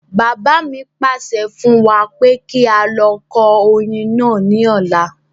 Bàbá mi pàṣẹ fún wa pé kí á lọ kó oyin náà ní ọ̀la